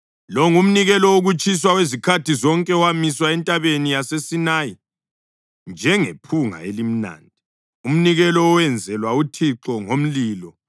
Lo ngumnikelo wokutshiswa wezikhathi zonke owamiswa entabeni yaseSinayi njengephunga elimnandi, umnikelo owenzelwa uThixo ngomlilo.